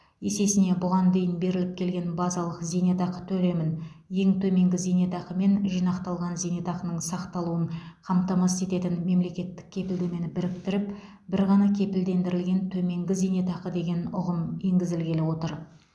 есесіне бұған дейін беріліп келген базалық зейнетақы төлемін ең төменгі зейнетақы мен жинақталған зейнетақының сақталуын қамтамасыз ететін мемлекеттік кепілдемені біріктіріп бір ғана кепілдендірілген төменгі зейнетақы деген ұғым енгізілгелі отыр